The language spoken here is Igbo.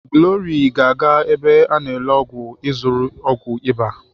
Glory ga-aga ebe a n'ele ọgwụ ịzụrụ ọgwụ ịba.